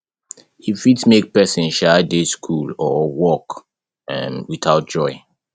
e fit make persin de school or work um without joy